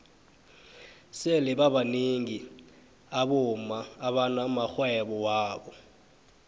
sele babnengi abomma abana maxhwebo wabo